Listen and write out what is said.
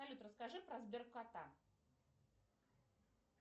салют расскажи про сбер кота